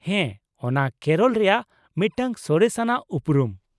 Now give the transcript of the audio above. ᱦᱮᱸ , ᱚᱱᱟ ᱠᱮᱨᱚᱞ ᱨᱮᱭᱟᱜ ᱢᱤᱫᱴᱟᱝ ᱥᱚᱨᱮᱥ ᱟᱱᱟᱜ ᱩᱯᱨᱩᱢ ᱾